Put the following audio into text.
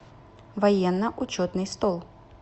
военно учетный стол